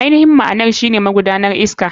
AInihin ma'anar shine magudanar iska.